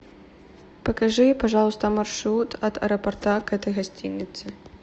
покажи пожалуйста маршрут от аэропорта к этой гостинице